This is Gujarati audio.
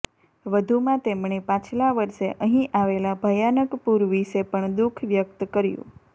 વધુમાં તેમણે પાછલા વર્ષે અહીં આવેલા ભયાનક પૂર વિષે પણ દુખ વ્યક્ત કર્યું